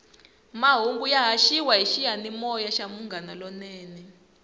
mahungu ya haxiwa hi xiyanimoya xa munghana lonene